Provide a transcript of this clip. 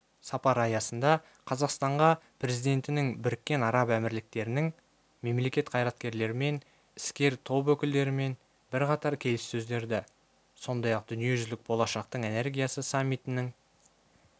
сапар аясында қазақстанға президентінің біріккен араб әмірліктерінің мемлекет қайраткерлерімен іскер топ өкілдерімен бірқатар келіссөздерді сондай-ақ дүниежүзілік болашақтың энергиясы саммитінің